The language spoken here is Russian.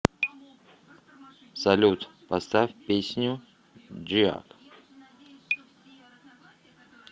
салют поставь песню джиак